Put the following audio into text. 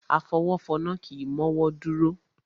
Afọwọ́fọnná kì í mọ́wọ́ dúró.